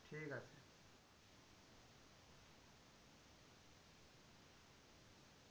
ঠিক আছে।